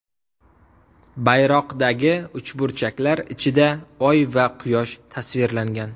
Bayroqdagi uchburchaklar ichida oy va quyosh tasvirlangan.